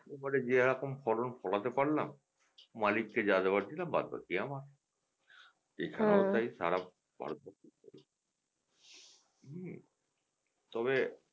হতে পারে যেরকম ফলন ফলাতে পারলাম মালিক কে যা দেওয়ার দিলাম বাদ বাকি আমার এখানেও তাই সারাবছর হুম? তবে,